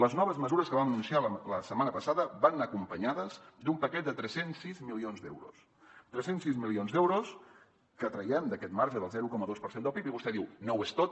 les noves mesures que vam anunciar la setmana passada van anar acompanyades d’un paquet de tres cents i sis milions d’euros tres cents i sis milions d’euros que traiem d’aquest marge del zero coma dos per cent del pib i vostè diu no ho és tot